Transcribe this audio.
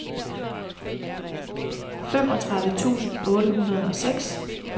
femogtredive tusind otte hundrede og seks